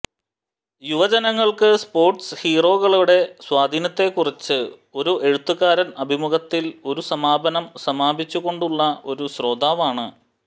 യുവജനങ്ങൾക്ക് സ്പോർട്സ് ഹീറോകളുടെ സ്വാധീനത്തെക്കുറിച്ച് ഒരു എഴുത്തുകാരൻ അഭിമുഖത്തിൽ ഒരു സമാപനം സമാപിച്ചുകൊണ്ടുള്ള ഒരു ശ്രോതാവാണ്